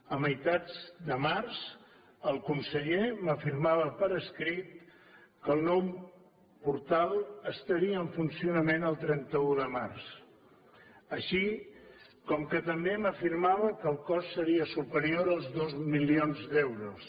a meitats de març el conseller m’afirmava per escrit que el nou portal estaria en funcionament el trenta un de març així com també m’afirmava que el cost seria superior als dos milions d’euros